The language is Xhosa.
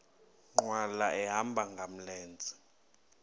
nkqwala ehamba ngamlenze